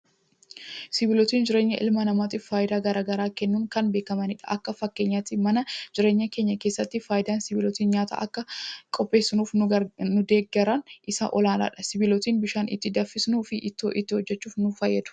Sibiilotni jireenya ilma namaatiif fayidaa garaagaraa kennuun kan beekamanidha. Akka fakkeenyaatti mana jireenyaa keenya keessatti, fayidaan sibiilotni nyaata akka qopheeffannuuf nu deeggaran isa olaanaadha. Sibiilotni bishaan itti danfisuu fi ittoo itti hojjechuuf nu fayyadu.